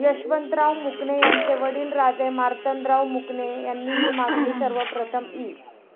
यशवंतराव मुकणे यांचे वडील राजे मार्तंडराव मुकणे यांनी हि मागणी सर्वप्रथम इ.